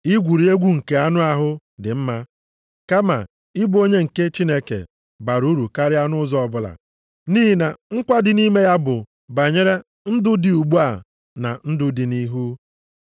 Igwuri egwu nke anụ ahụ dị mma kama ịbụ onye nke Chineke bara uru karịa nʼụzọ ọbụla, nʼihi na nkwa dị nʼime ya bụ banyere ndụ dị ugbu a na ndụ dị nʼihu.